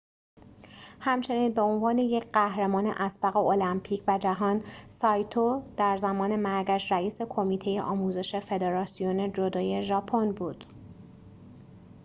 همچنین به عنوان یک قهرمان اسبق المپیک و جهان سایتو در زمان مرگش رئیس کمیته آموزش فدراسیون جودو ژاپن بود